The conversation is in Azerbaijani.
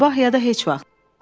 Sabah ya da heç vaxt.